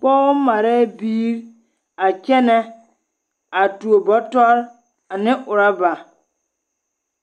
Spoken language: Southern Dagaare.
Pɔgɔ marɛɛ biiri a kyɛnɛ a tuo bɔtɔre ane orɔba